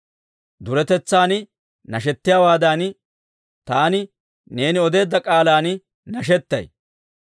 Duretetsan nashettiyaawaadan, taani neeni odeedda k'aalan nashetay.